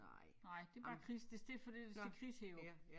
Nej det bare Chris det det fordi der står Chris heroppe